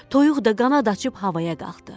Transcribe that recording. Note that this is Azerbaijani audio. Toyuq da qanad açıb havaya qalxdı.